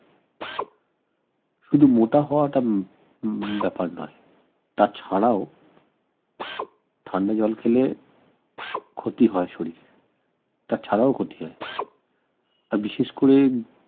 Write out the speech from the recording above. শুধু মোটা হওয়াটা উম ব্যাপার নয় তাছাড়াও ঠান্ডা জল খেলে ক্ষতি হয় শরীরের তাছাড়াও ক্ষতি হয় বিশেষ করে